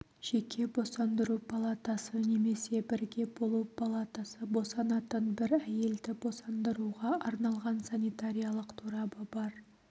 жеке босандыру палатасы немесе бірге болу палатасы босанатын бір әйелді босандыруға арналған санитариялық торабы бар